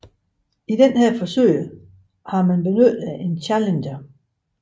I dette forsøg har man benyttet en Challenger